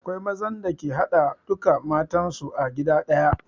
Akwai mazan da ke haɗa duka matan su a gida ɗaya